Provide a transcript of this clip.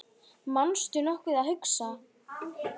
manstu nokkuð að hugsa